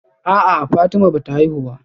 A'a Fatima bata haihu ba